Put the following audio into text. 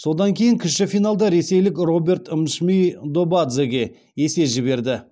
содан кейін кіші финалда ресейлік роберт мшвидобадзеге есе жіберді